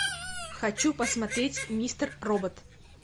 хочу посмотреть мистер робот